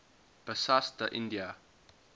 bassas da india